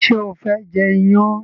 ṣe o fé jê iyán?